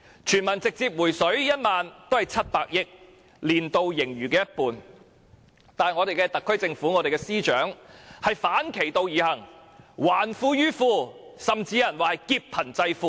全民直接"回水 "1 萬元也只涉款700億元，佔年度盈餘的一半，但我們的特區政府及司長卻反其道而行，還富於富，甚至有人說是"劫貧濟富"。